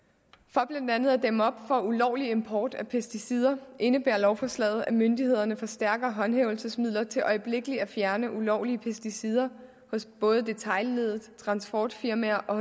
for blandt andet at dæmme op for ulovlig import af pesticider indebærer lovforslaget at myndighederne får stærkere håndhævelsesmidler til øjeblikkelig at fjerne ulovlige pesticider hos både detailleddet transportfirmaer og